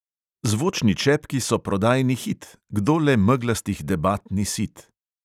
Zvočni čepki so prodajni hit; kdo le meglastih debat ni sit?